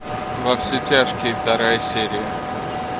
во все тяжкие вторая серия